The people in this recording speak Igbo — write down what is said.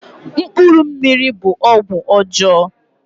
Mkpuru mmiri' bụ ọgwụ ọjọọ